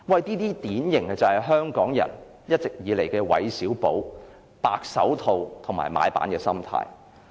這些就是香港人一直以來典型的"韋小寶"、"白手套"和買辦心態。